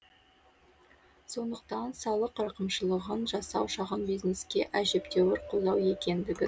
сондықтан салық рақымшылығын жасау шағын бизнеске әжептәуір қолдау екендігін